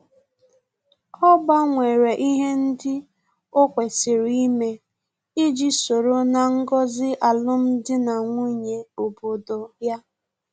Ọ gbanwere ihe ndị o kwesịrị ime iji soro ná ngọzi alum dị na nwunye obodo ya